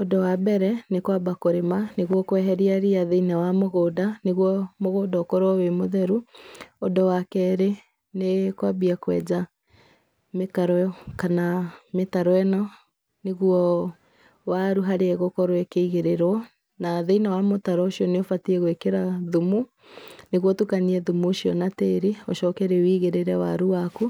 Ũndũ wambere nĩ kwamba kũrĩma nĩguo kweheria ria thĩinĩ wa mũgũnda nĩgũo mũgũnda ũkorwo wĩ mũtheru, ũndũ wa kerĩ nĩ kwambia kwenja mĩkaro kana mĩtaro ĩno nĩguo waru harĩa ĩgũkorwo ĩkĩigĩrĩrwo, na thĩinĩ wa mũtaro ũcio nĩ ũbatie gwĩkĩra thumu, nĩguo ũtukanie thumu ũcio na tĩri, ũcoke rĩu ũigĩrĩre waru waku,